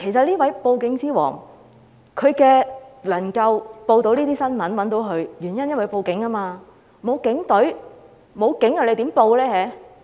這位"報警之王"能夠被報道，原因是他報案了，如果沒有警隊的話，他又怎能報案呢？